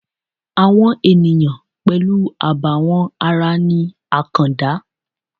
Àwọn ènìyàn pẹ̀lú àbàwón ara ni àkàndá